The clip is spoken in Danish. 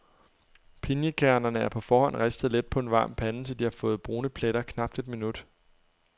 Pinjekærnerne er på forhånd ristet let på en varm pande, til de har fået brune pletter, knapt et minut.